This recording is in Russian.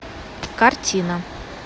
картина